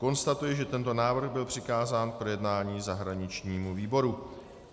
Konstatuji, že tento návrh byl přikázán k projednání zahraničnímu výboru.